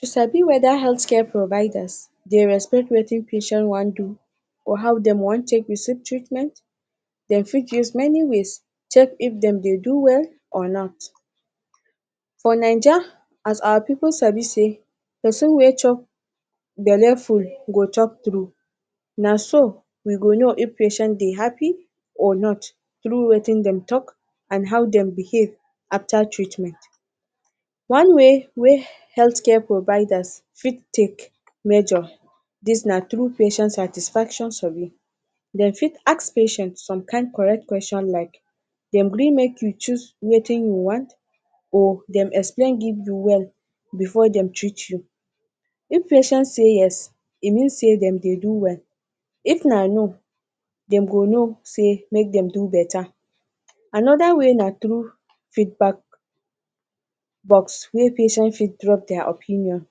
To sabi whether healthcare providers dey respect wetin patient wan do, or how dem want take receive treatment, dem fit use many ways check if dem dey do well or not. For Naija as our pipu sabi sey persin wey chop belle full go talk true. Naso We go know if patient dey happy or not tru wetin dem talk and how dem behave after treatment. One-way wey healthcare provider fit take measure dis, na through patient satisfaction survey dem fit ask patient some kind correct questions like dem gree make you choose wetin you want or dem explain give you well before dem treat you, if patient say yes e mean sey dem dey do well if na no dem go know sey make dem do better. Anoda way na through feedback box wey patient go drop der opinion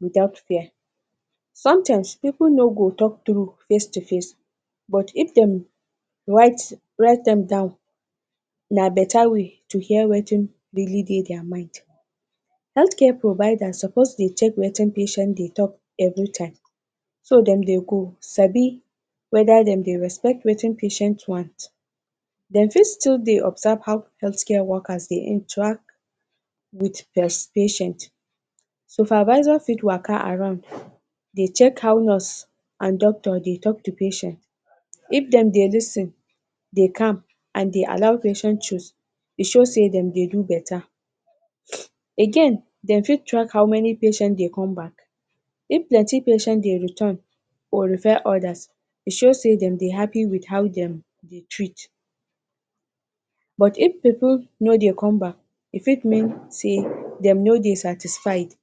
without fear. Sometimes pipu no go talk true face to face but if dem write write am down na better way to hear wetin really dey der mind. Healthcare providers suppose dey check wetin patients dey talk every time, so dem dey go sabi whether dem dey respect wetin patient want. Dem fit still dey observe how healthcare worker dey interact with der patient, supervisor fit waka around dey check how nurse and doctors dey talk to patient, if dem dey lis ten, dey calm and dey allow patient choose, e show sey dem dey do beta. Again, dem fit track how many patient dey come back, if plenty patient dey return or refer others e show sey dem dey happy with how dem dey treat, but if pipu no dey come back e fit mean sey dem no dey satisfied.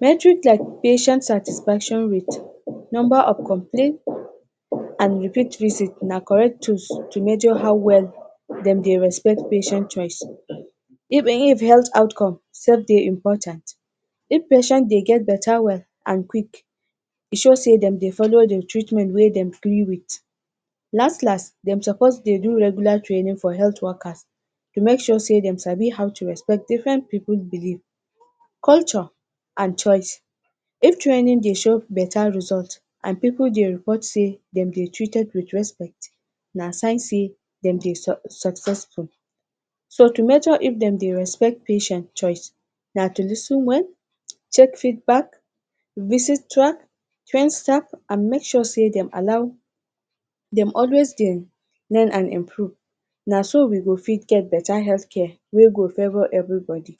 Metric classification satisfaction rate, number of complete and repeat visit na correct tools to measure how well dem dey respect patient choice. If um health outcome sef dey important, if patient dey get beta well and quick e dey show sey dem dey follow de treatment wey dem? with. Last last dem suppose dey do regular training for healthcare workers to make sure sey dey sabi how to respect different pipu believe, culture and choice. If? no dey show any beta result and pipu dey report sey dem dey treated with respect na sign sey dem dey um successful. So to measure if dem dey respect patient choice na to lis ten well, check feedback, visit track, train staff and make sure sey dem allow dem always dem dey? improve, naso we go fit det beta healthcare wey go favor everybody